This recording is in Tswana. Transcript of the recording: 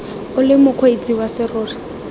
o le mokgweetsi wa serori